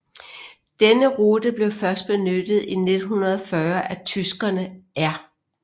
Denne rute blev først benyttet i 1940 af tyskerne R